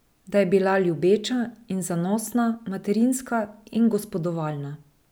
Da je bila ljubeča in zanosna, materinska in gospodovalna.